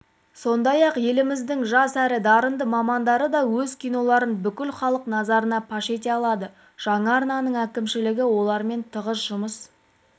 сондай-ақ еліміздің жас әрі дарынды мамандары да өз киноларын бүкіл халық назарына паш ете алады жаңа арнаның әкімшілігі олармен тығыз жұмыс